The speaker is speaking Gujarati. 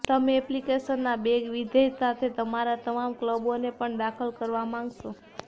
તમે એપ્લિકેશનના બેગ વિધેય સાથે તમારા તમામ ક્લબોને પણ દાખલ કરવા માંગશો